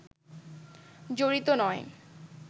জড়িত নয়